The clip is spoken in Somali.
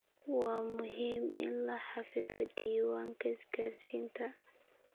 Waa muhiim in la xafido diiwaanka isgaarsiinta.